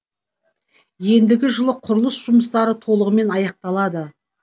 ендігі жылы құрылыс жұмыстары толығымен аяқталады